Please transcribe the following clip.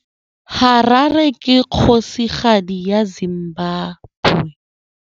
Harare ke kgosigadi ya Zimbabwe.